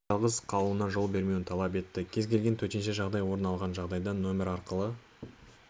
жалғыз қалуына жол бермеуін талап етті кез келген төтенше жағдай орын алған жағдайда нөмері арқылы